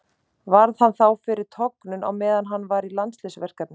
Varð hann þá fyrir tognun á meðan hann var í landsliðsverkefni.